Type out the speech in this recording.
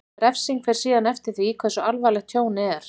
Refsing fer síðan eftir því hversu alvarlegt tjónið er.